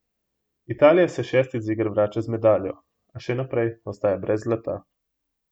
Italija se šestič z iger vrača z medaljo, a še naprej ostaja brez zlata.